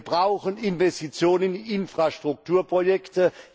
Wir brauchen Investitionen in Infrastrukturprojekte.